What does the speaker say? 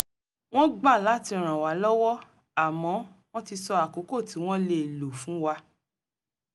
wọ́n gbà láti ràn wá lọ́wọ́ àmọ́ wọ́n ti sọ àkókò tí wọ́n lè lò fún wa